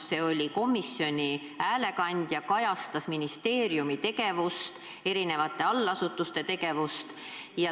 See oli komisjoni häälekandja, kajastas ministeeriumi tegevust, erinevate allasutuste tegevust.